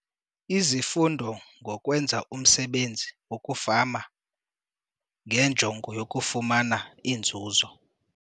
Izifundo ngoKwenza umSebenzi wokuFama ngenjongo yokufumana Iinzuzo.